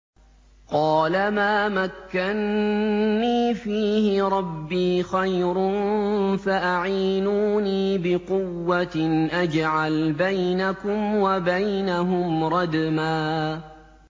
قَالَ مَا مَكَّنِّي فِيهِ رَبِّي خَيْرٌ فَأَعِينُونِي بِقُوَّةٍ أَجْعَلْ بَيْنَكُمْ وَبَيْنَهُمْ رَدْمًا